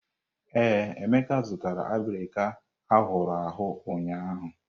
Ee, Emeka zụtara abirika ahụrụ ahụ ụnyahụ.